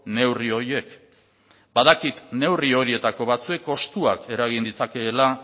neurri horiek badakit neurri horietako batzuek kostuak eragin ditzakeela